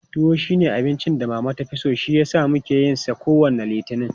Tuwo shi ne abincin da Mama ta fi so shi yasa muke yin sa kowane Litini.